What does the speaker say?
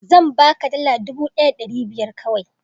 zan baka dala dubu ɗaya da ɗari biyar kawai